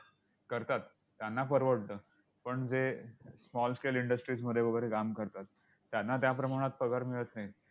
करतात, त्यांना परवडतं. पण जे small scale industries मध्ये वगैरे काम करतात, त्यांना त्याप्रमाणात पगार मिळत नाही.